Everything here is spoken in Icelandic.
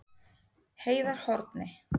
Heiðarhorni